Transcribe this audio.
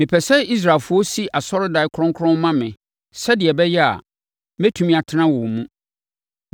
“Mepɛ sɛ Israelfoɔ si asɔredan kronkron ma me, sɛdeɛ ɛbɛyɛ a, mɛtumi atena wɔn mu.